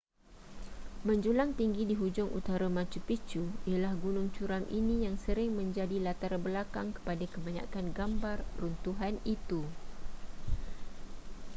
menjulang tinggi di hujung utara machu picchu ialah gunung curam ini yang sering menjadi latar belakang kepada kebanyakan gambar runtuhan itu